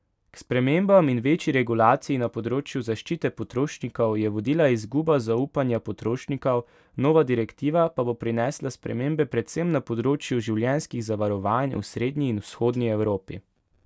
K spremembam in večji regulaciji na področju zaščite potrošnikov je vodila izguba zaupanja potrošnikov, nova direktiva pa bo prinesla spremembe predvsem na področju življenjskih zavarovanj v srednji in vzhodni Evropi.